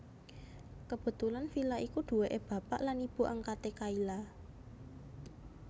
Kebetulan villa iku duwéke bapak lan ibu angkate Kayla